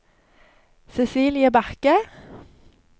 Cecilie Bakke